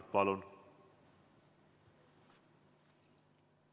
Palun!